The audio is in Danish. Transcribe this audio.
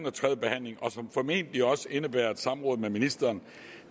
og tredje behandling og som formentlig også indebærer et samråd med ministeren